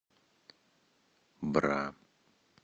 бра